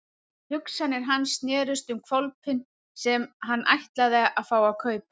Hugsanir hans snerust um hvolpinn sem hann ætlaði að fá að kaupa.